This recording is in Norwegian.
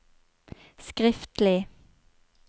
skriftlig